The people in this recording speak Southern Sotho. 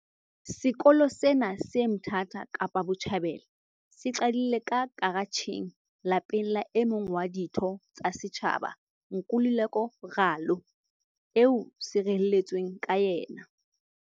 Sekolo sena, se Mthatha Kapa Botjhabela, se qadile ka karatjheng lapeng la e mong wa ditho tsa setjhaba, Nkululeko Ralo, eo se reheletsweng ka yena.